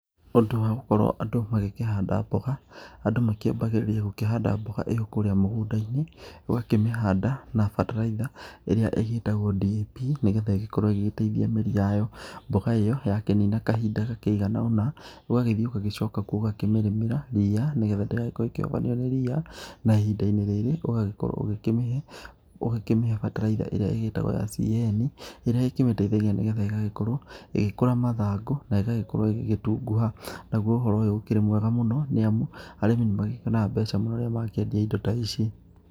Ũndũ wa gũkorwo andũ magĩkĩhanda mboga, andũ makĩambagĩrĩria gũkĩhanada mboga ĩrĩo kuurĩa mũgũnda-inĩ, ũgakĩmĩhanda na bataraitha ĩrĩa igĩitagwo DAP, nĩgetha ĩgĩkorwo ĩgĩgĩteithia mĩri yayo. Mboga ĩyo yakĩnina kahinda gakĩigana ona, ũgagĩthĩ ũgagĩcoka kuo ũgakĩmĩrĩmĩra ria, nĩgetha ndĩgakorwo ĩkĩhobanio nĩ ria. Na ihinda-inĩ rĩrĩ ũgagĩkorwo ũgĩkĩmĩhe, ũgakĩmĩhe bataraitha ĩrĩa ĩgĩtagwo ya CAN, ĩrĩa ĩkĩmĩteithagia, nĩgetha ĩgagĩkorwo ĩgĩkũra mathangũ, na ĩgagĩkorwo ĩgĩgĩtunguha. Naguo ũhoo ũyũ ũkĩrĩ mwega mũno nĩ amu, arĩmi nĩ magĩkĩonaga mbeca mũno rĩrĩa makĩendia indo ta ici.